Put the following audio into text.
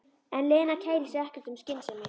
En Lena kærir sig ekkert um skynsemi.